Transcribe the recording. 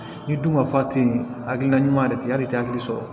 Ni dun ma fa te yen hakilina ɲuman yɛrɛ tɛ hali i tɛ hakili sɔrɔ